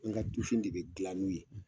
N ka tufin ne bɛ gilan n'u ye